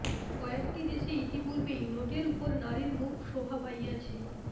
কয়েকটি দেশে ইতিপূর্বেই নোটের উপর নারীর মুখ শোভা পাইয়াছে